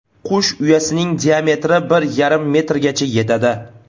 Qush uyasining diametri bir yarim metrgacha yetadi.